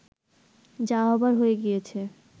যা হবার হয়ে গিয়েছে